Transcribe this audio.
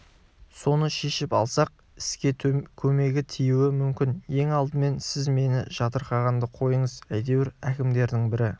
соны шешіп алсақ іске көмегі тиюі мүмкін ең алдымен сіз мені жатырқағанды қойыңыз әйтеуір әкімдердің бірі